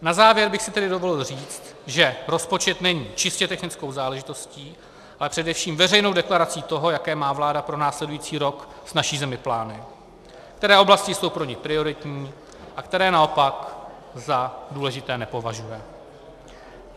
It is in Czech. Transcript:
Na závěr bych si tedy dovolil říct, že rozpočet není čistě technickou záležitostí, ale především veřejnou deklarací toho, jaké má vláda pro následující rok s naší zemí plány, které oblasti jsou pro ni prioritní a které naopak za důležité nepovažuje.